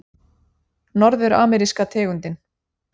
Norður-ameríska tegundin